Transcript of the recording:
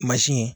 ye